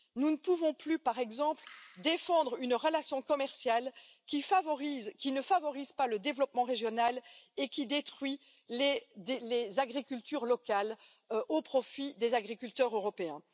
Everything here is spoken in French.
Nous ne pouvons plus, par exemple, défendre une relation commerciale qui ne favorise pas le développement régional et qui détruit les agricultures locales au profit des agriculteurs européens.